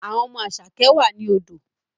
Àwọn ọmọ Asake wà ní odò